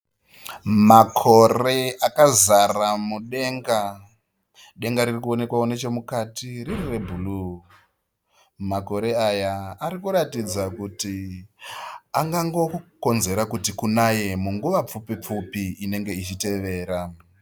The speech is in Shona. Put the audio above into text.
Makore akazara mudenga. Denga riri kuonekwawo nechomukati riri rebhuru. Makore aya ari kuratidza kuti angangokonzera kuti kunaye munguva pfupi pfupi inenge ichitevera.